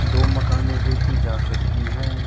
दो मकाने देखी जा सकती हैं।